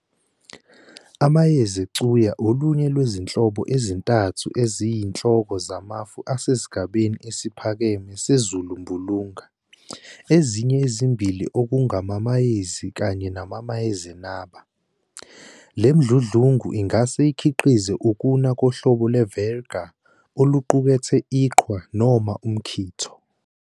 Amayezecuya olunye lwezinhlobo ezintathu eziyinhloko zamafu asesigabeni esiphakeme sezulumbulunga, ezinye ezimbili okungamamayezi kanye namayezenaba. Le mdludlungu ungase ukhiqize ukuna kohlobo ye- virga oluqukethe iqhwa noma umkhitho.